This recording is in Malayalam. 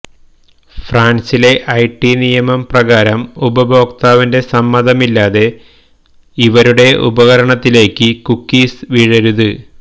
ഫ്രാന്സിലെ ഐടി നിയമം പ്രകാരം ഉപഭോക്താവിന്റെ സമ്മതമില്ലാതെ ഇവരുടെ ഉപകരണത്തിലേക്ക് കുക്കീസ് വീഴരുത്